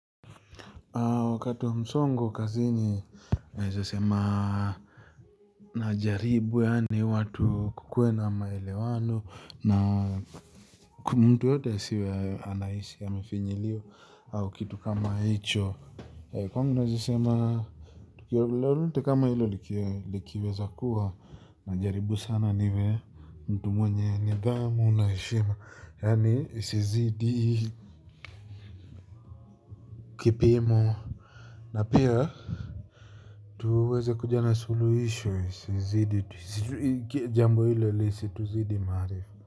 Wakati wa msongo kazini naeza sema na jaribu yaani watu kukue na maelewano na mtu yoyote asiwe anaishi anafinyiliwa au kitu kama hicho. Kwangu naweza sema lolote kama hilo likiweza kuwa najaribu sana niwe mtu mwenye nidhamu na heshima yaani isizidi kipimo na pia tuweze kuja na suluhisho, jambo hilo lisituzidi maarifa.